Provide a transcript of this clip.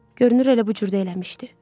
Görünür elə bu cür də eləmişdi.